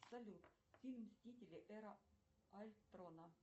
салют фильм мстители эра альтрона